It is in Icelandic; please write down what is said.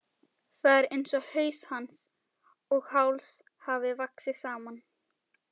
Það er einsog haus hans og háls hafi vaxið saman.